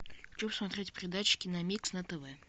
хочу посмотреть передачу киномикс на тв